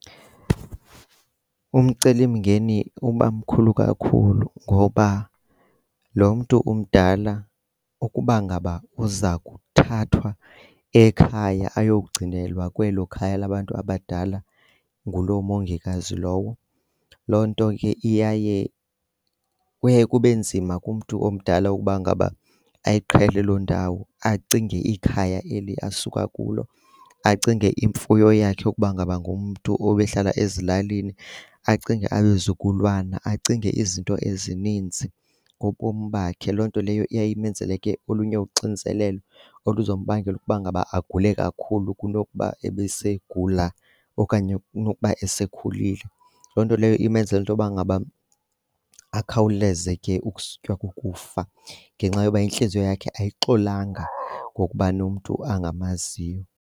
Umcelimngeni uba mkhulu kakhulu ngoba lo mntu umdala ukuba ngaba uza kuthathwa ekhaya ayokugcinelwa kwelo khaya labantu abadala ngulo mongikazi lowo. Loo nto ke iyaye kuye kube nzima kumntu omdala ukuba ngaba ayiqhele loo ndawo acinge ikhaya eli asuka kulo, acinge imfuyo yakhe ukuba ngaba ngumntu obehlala ezilalini, acinge abazukulwana, acinge izinto ezininzi ngobomi bakhe. Loo nto leyo iya imenzele ke olunye uxinzelelo oluzombangela ukuba ngaba agule kakhulu kunokuba ebesegula okanye kunokuba esekhulile. Loo nto leyo imenzele into yokuba ngaba akhawuleze ke ukusutywa kukufa ngenxa yoba intliziyo yakhe ayixolanga ngokuba nomntu angamaziyo.